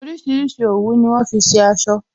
Orísìírísìí òwú ni wọn fi ṣe aṣọ